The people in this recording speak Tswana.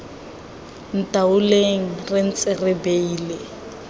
ntaoleng re ntse re beile